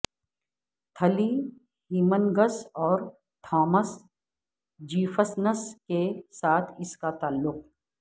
تھلی Hemings اور Thomas Jefferson's کے ساتھ اس کا تعلق